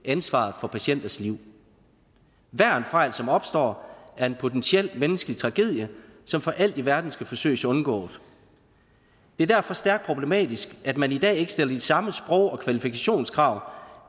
ansvaret for patienters liv hver en fejl som opstår er en potentiel menneskelig tragedie som for alt i verden skal forsøges undgået det er derfor stærkt problematisk at man i dag ikke stiller de samme sprog og kvalifikationskrav